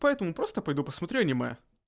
поэтому просто пойду посмотрю аниме